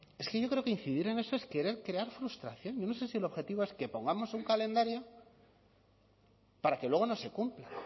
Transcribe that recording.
es que yo creo que incidir en eso es querer crear frustración yo no sé si el objetivo es que pongamos un calendario para que luego no se cumpla